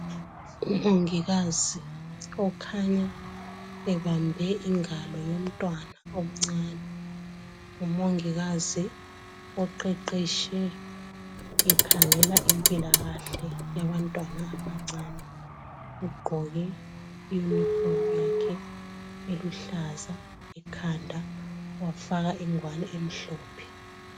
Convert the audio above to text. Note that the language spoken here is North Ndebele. Umongikazi okhanya ebambe ingalo yomntwana omncane, ngumongikazi oqeqetshe ekhangela impilakahle yabantwana abancane ugqoke iyunifomu yakhe eluhlaza ekhanda wafaka ingwane emhlophe.